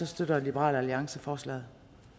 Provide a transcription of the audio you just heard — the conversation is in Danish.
støtter liberal alliance forslaget